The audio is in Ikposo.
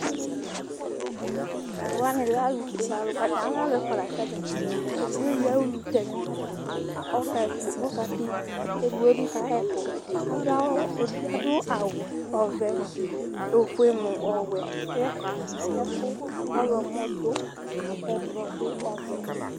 Tʋ alʋ wanɩ alɛ alʋfue nɩ Atalʋ ɛfʋa la zǝtɩ Edigbo eyʋia ulutɛnʋ lɛ nʋ ayalɔ kʋ ɔka tɛ ulu, kʋ edigbo bɩ ka ɣa ɛkʋ Edigbo adʋ awʋ ɔvɛ nʋ ofue nʋ ɔwɛ, kʋ ɛkʋ ɔɣlɔmɔ dʋ, kʋ ɛblɔ dʋ, ɔvɛ dʋ